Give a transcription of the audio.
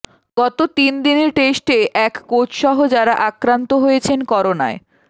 গত তিন দিনের টেস্টে এক কোচসহ যারা আক্রান্ত হয়েছেন করোনায়